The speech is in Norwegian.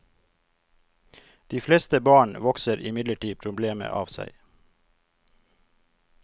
De fleste barn vokser imidlertid problemet av seg.